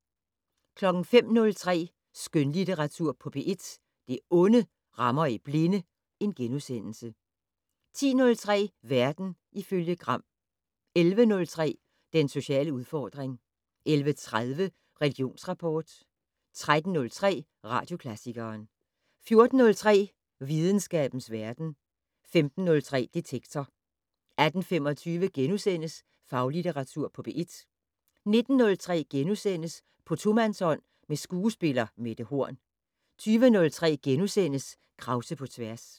05:03: Skønlitteratur på P1 - Det onde rammer i blinde * 10:03: Verden ifølge Gram 11:03: Den sociale udfordring 11:30: Religionsrapport 13:03: Radioklassikeren 14:03: Videnskabens verden 15:03: Detektor 18:25: Faglitteratur på P1 * 19:03: På tomandshånd med skuespiller Mette Horn * 20:03: Krause på tværs *